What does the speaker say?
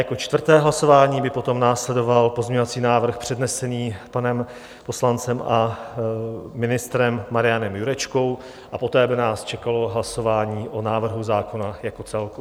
Jako čtvrté hlasování by potom následoval pozměňovací návrh přednesený panem poslancem a ministrem Marianem Jurečkou a poté by nás čekalo hlasování o návrhu zákona jako celku.